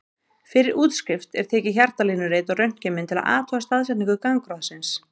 Fyrir útskrift er tekið hjartalínurit og röntgenmynd til að athuga staðsetningu gangráðsins.